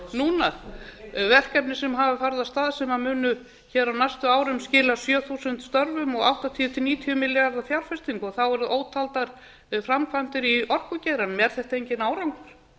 núna verkefni sem hafa farið af stað sem munu hér á næstu árum skila sjö þúsund störfum og áttatíu til níutíu milljarða fjárfestingu og þá eru ótaldar framkvæmdir í orkugeiranum er þetta enginn árangur